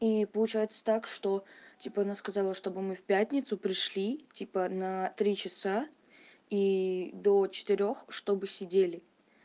и получается так что типа она сказала чтобы мы в пятницу пришли типа на три часа и до четырёх чтобы сидели